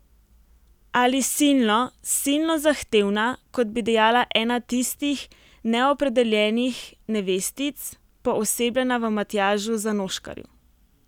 Ali silno, silno zahtevna, kot bi dejala ena tistih neopredeljenih nevestic, poosebljena v Matjažu Zanoškarju.